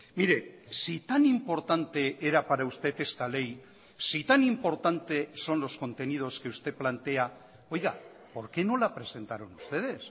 mire si tan importante era para usted esta ley si tan importante son los contenidos que usted plantea oiga por qué no la presentaron ustedes